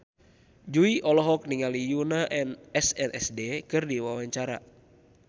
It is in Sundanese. Jui olohok ningali Yoona SNSD keur diwawancara